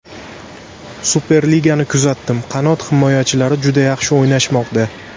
Superligani kuzatdim, qanot himoyachilar juda yaxshi o‘ynashmoqda.